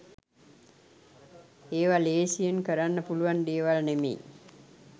ඒව ලේසියෙන් කරන්න පුළුවන් දේවල් නෙමෙයි